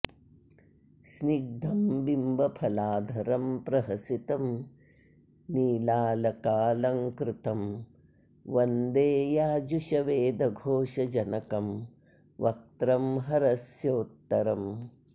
स्निग्धं बिम्बफलाधरं प्रहसितं नीलालकालंकृतं वन्दे याजुषवेदघोषजनकं वक्त्रं हरस्योत्तरम्